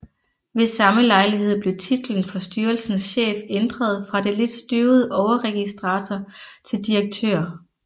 Ved samme lejlighed blev titlen for styrelsens chef ændret fra det lidt støvede overregistrator til direktør